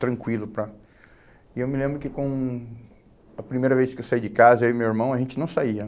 tranquilo para... E eu me lembro que com... A primeira vez que eu saí de casa, eu e meu irmão, a gente não saía,